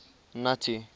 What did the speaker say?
nuttie